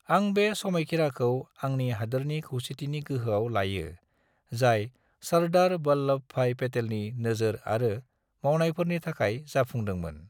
आं बे समायखीराखौ आंनि हादोरनि खौसेथिनि गोहोआव लायो जाय सरदार वल्लभ भाई पटेलनि नोजोर आरो मावनायफोरनि थाखाय जाफुंदोंमोन।